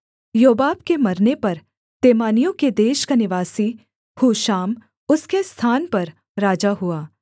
योबाब के मरने पर तेमानियों के देश का निवासी हूशाम उसके स्थान पर राजा हुआ